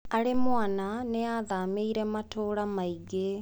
Arĩ mwana nĩ aathamĩire matũũra maingĩ.